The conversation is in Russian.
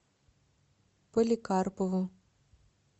поликарпову